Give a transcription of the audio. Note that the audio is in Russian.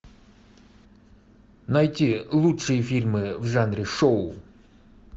найти лучшие фильмы в жанре шоу